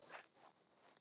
Hvað meinar hann?